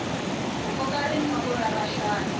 ku koka rinoko ra vahlayi